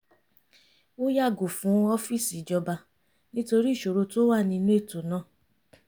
ó yàgò fún ọ́fíìsì ìjọba nítorí ìṣòro tó wà nínú ètò náà